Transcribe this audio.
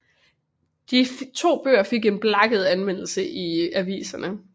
De to bøger fik en blakket anmeldelse i aviserne